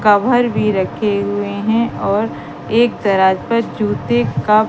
cover भी रखे हुए हैं और एक दराज पर जूते का--